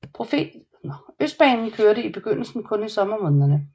Østbanen kørte i begyndelsen kun i sommermånederne